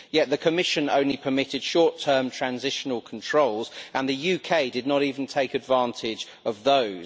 Yet the Commission permitted only short term transitional controls, and the UK did not even take advantage of those.